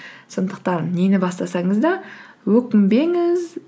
сондықтан нені бастасаңыз да өкінбеңіз